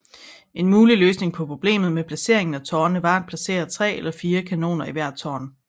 En mulig løsning på problemet med placering af tårnene var at placere tre eller fire kanoner i hvert tårn